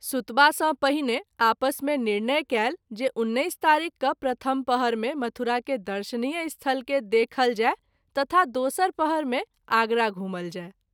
सुतबा सँ पहिने आपस मे निर्णय कएल जे १९ तारिख क’ प्रथम पहर मे मथुरा के दर्शनीय स्थल के देखल जाय तथा दोसर पहर मे आगरा घुमल जाय।